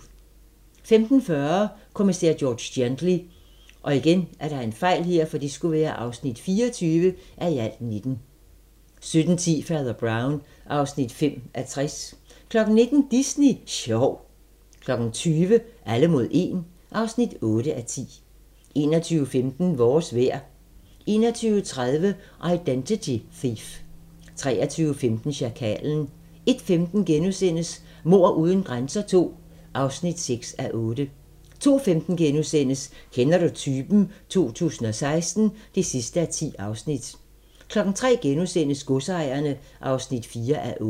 15:40: Kommissær George Gently (24:19) 17:10: Fader Brown (5:60) 19:00: Disney sjov 20:00: Alle mod 1 (8:10) 21:15: Vores vejr 21:30: Identity Thief 23:15: Sjakalen 01:15: Mord uden grænser II (6:8)* 02:15: Kender du typen? 2016 (10:10)* 03:00: Godsejerne (4:8)*